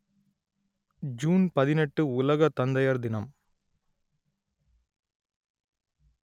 June பதினெட்டு உலக தந்தையர் தினம்